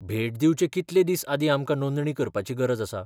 भेट दिवचे कितले दिस आदीं आमकां नोंदणी करपाची गरज आसा?